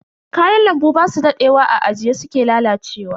Kayan lambu basu dadewa a ajiye suke lalacewa.